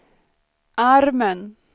armen